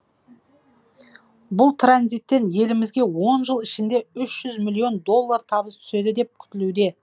бұл транзиттен елімізге он жыл ішінде ш жүз миллион доллар табыс түседі деп күтілуде